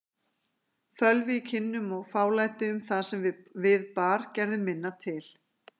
Fölvi í kinnum og fálæti um það sem við bar gerðu minna til.